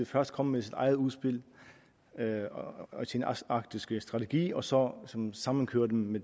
først komme med sit eget udspil og sin arktiske strategi og så sammenkøre dem med